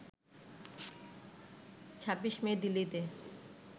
২৬ May দিল্লিতে